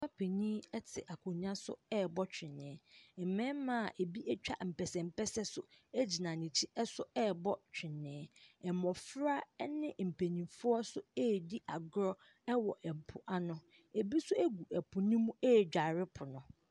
Papa panin te akonnwa so ɛrebɔ tweneɛ. Mmarima bi atwa mpɛnsɛmpɛsɛ nso gyina n’akyi nso ɛrebɔ tweneɛ. Mmɔfra ne mpanimfo so ɛredi agorɔ wɔ po ano, bi nso gu po ne mu ɛredware po no.